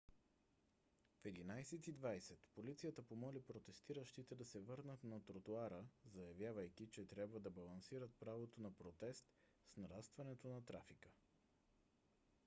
в 11: 20 полицията помоли протестиращите да се върнат на тротоара заявявайки че трябва да балансират правото на протест с нарастването на трафика